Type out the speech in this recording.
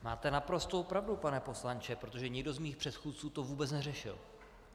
Máte naprostou pravdu, pane poslanče, protože nikdo z mých předchůdců to vůbec neřešil.